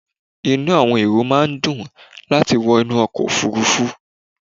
Inú àwọn èrò máà ń dùn láti wọ inú ọkọ̀ òfurufú